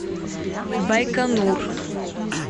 байконур